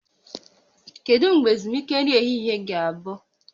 Kedu mgbe ezumike nri ehihie ga-abụ?